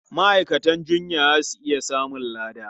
Ma'aikatan jinya za su iya samun lada.